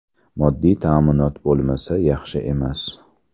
Moddiy ta’minot bo‘lmasa yaxshi emas.